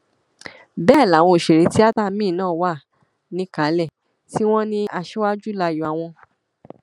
bẹẹ làwọn òṣèré tíáta míín náà wà níkàlẹ tí wọn ní aṣíwájú láàyò àwọn